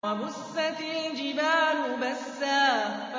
وَبُسَّتِ الْجِبَالُ بَسًّا